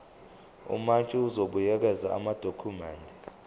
umantshi uzobuyekeza amadokhumende